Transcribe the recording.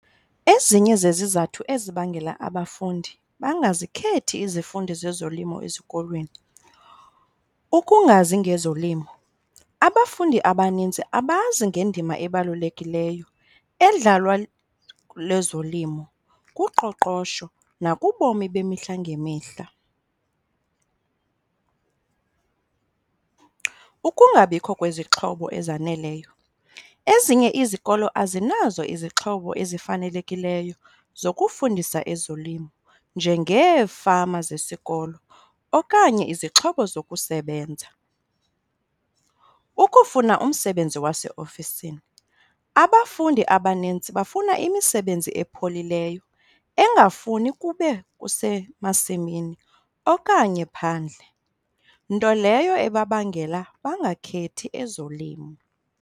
Ezinye zezizathu ezibangela abafundi bangazikhethi izifundo zezolimo ezikolweni, ukungazi ngezolimo. Abafundi abanintsi abazi ngendima ebalulekileyo edlalwa lezolimo kuqoqosho nakubomi bemihla ngemihla. Ukungabikho kwezixhobo ezaneleyo, ezinye izikolo azinazo izixhobo ezifanelekileyo zokufundisa ezolimo njengeefama zesikolo okanye izixhobo zokusebenza. Ukufuna umsebenzi waseofisini, abafundi abanintsi bafuna imisebenzi epholileyo engafuni kube usemasimini okanye phandle, nto leyo ebabangela bangakhethi ezolimo.